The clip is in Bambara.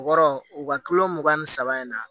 O kɔrɔ u ka kilo mugan ni saba in na